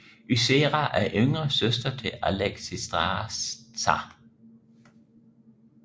Ysera er yngre søster til Alexstrasza